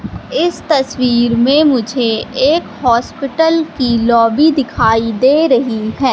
इस तस्वीर में मुझे एक हॉस्पिटल की लॉबी दिखाई दे रही है।